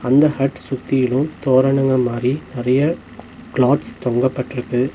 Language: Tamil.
இந்த ஹட் சுத்திலோ தோரணங்க மாரி நறைய கிளாத்ஸ் தொங்கப்பட்ருக்கு.